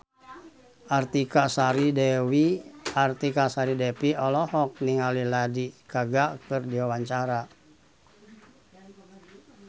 Artika Sari Devi olohok ningali Lady Gaga keur diwawancara